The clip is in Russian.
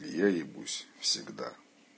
я ебусь всегда